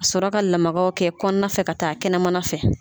sɔrɔ ka lamagaw kɛ kɔnɔna fɛ ka taa kɛnɛmana fɛ.